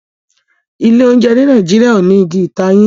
Ilé oúnjẹ ní Nàìjíríà o ní Ìgi ìtayín.